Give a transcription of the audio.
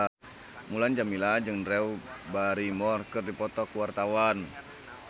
Mulan Jameela jeung Drew Barrymore keur dipoto ku wartawan